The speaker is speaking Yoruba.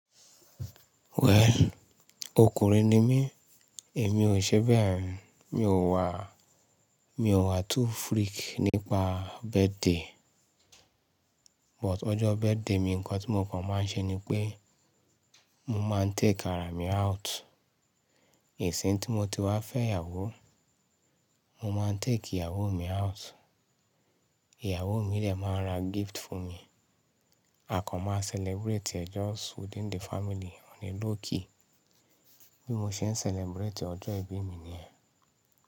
Well, ọkùnrin ni mí, èmi ò ṣe bẹ́ẹ̀. Mi ò wà, mi ò wà too freak nípa birthday. But ọjọ́ birthday mi ǹnkan tí mo kàn máa ń ṣe ni pé mo máa ń take ara mi out. Ìsìn tí mo ti wá fẹ́ ìyàwó, mo máa ń take ìyàwó mi out. Ìyàwó mi dẹ̀ máa ra gift fún mi. A kan máa celebrate just within the family on a low key. Bí mo ṣe ń celebrate ọjọ́ ìbí mi nìyẹn.